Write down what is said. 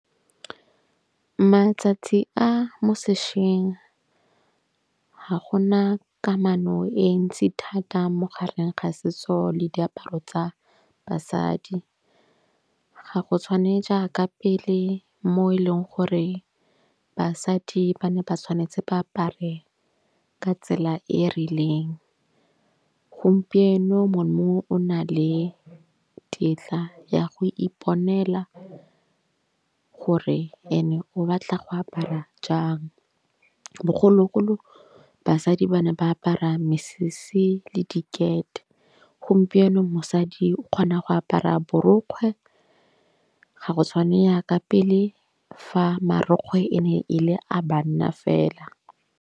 Matsatsi a mo sešweng ga gona kamano e ntsi thata mo gareng ga setso le diaparo tsa basadi. Ga go tshwane jaaka pele mo e leng gore basadi ba ne ba tshwanetse ba apare ka tsela e rileng. Gompieno mongwe o na le tetla ya go iponela gore ene o batla go apara jang. Bogologolo basadi ba ne ba apara mesese le dikete. Gompieno mosadi o kgona go apara borokgwe ga go tshwanela ka pele fa marokgwe e ne ele a banna fela.